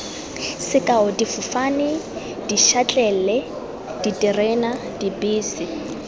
sekao difofane dišatlelle diterena dibese